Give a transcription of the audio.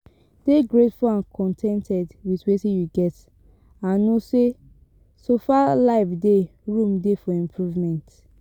Dey greatful and con ten ted with wetin you get and know sey so far life dey room dey for improvement